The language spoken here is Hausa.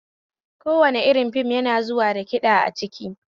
Kowane irin fim yana zuwa da kiɗa a ciki